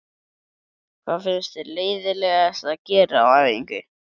Hvað finnst þér leiðinlegast að gera á æfingu?